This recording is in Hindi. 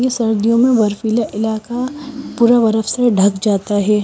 ये सर्दियों में बर्फीले इलाका पूरा बर्फ से ढक जाता है।